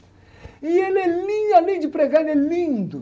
E ele é lindo, além de pregar, ele é lindo.